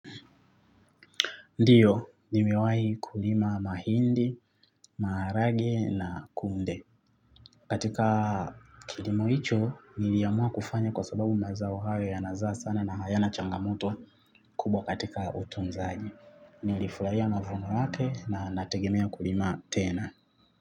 Ndiyo, nimewahi kulima mahindi, maharagwe na kunde. Katika kilima hicho, niliamua kufanya kwa sababu mazao hauo yanazaa sana na hayana changamoto kubwa katika utunzaji. Nilifurahia mavuno yake na nategemea kulima tena.